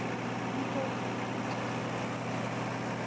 Hann tók andköf.